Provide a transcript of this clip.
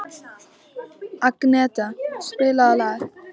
Agneta, spilaðu lag.